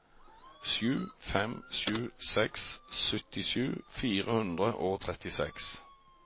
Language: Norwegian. sju fem sju seks syttisju fire hundre og trettiseks